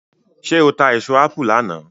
ṣe o ta èso apu lànà?